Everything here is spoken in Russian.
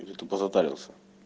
или тупо затарился